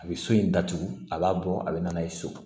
A bɛ so in datugu a b'a bɔ a bɛ na n'a ye so